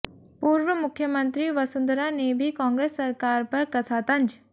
पूर्व मुख्यमंत्री वसुंधरा ने भी कांग्रेस सरकार पर कसा तंज